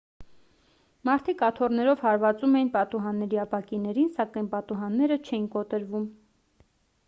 մարդիկ աթոռներով հարվածում էին պատուհանների ապակիներին սակայն պատուհանները չէին կոտրվում